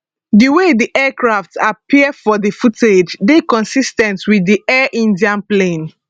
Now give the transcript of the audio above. di way di aircraft appear for di footage dey consis ten t wit di air india plane